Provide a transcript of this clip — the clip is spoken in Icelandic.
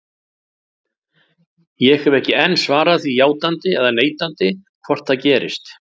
Ég hef ekki enn svarað því játandi eða neitandi hvort það gerist.